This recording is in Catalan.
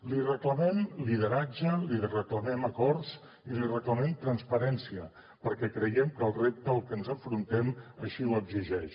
li reclamem lideratge li reclamem acords i li reclamem transparència perquè creiem que el repte al que ens enfrontem així ho exigeix